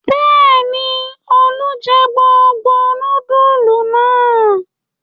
Bẹ́ẹ̀ ni, Olú jẹ gbogbo núdúlù náà.